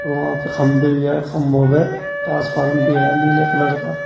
वहां पे खंभी है खंभों पे ट्रांसफॉर्म भी है नीले कलर का।